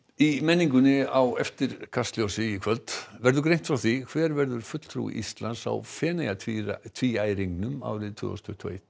í menningunni á eftir Kastljósi í kvöld verður greint frá því hver verður fulltrúi Íslands á Feneyjatvíæringnum árið tvö þúsund tuttugu og eitt